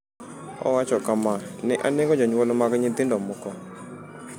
Owacho kama: “Ne anego jonyuol mag nyithindo moko.”